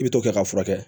I bi t'o kɛ ka furakɛ